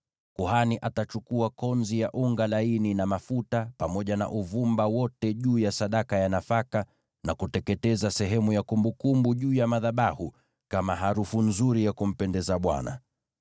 Kuhani atachukua konzi ya unga laini na mafuta, pamoja na uvumba wote ulioko juu ya sadaka ya nafaka, ateketeze sehemu ya kumbukumbu juu ya madhabahu kama harufu nzuri ya kumpendeza Bwana .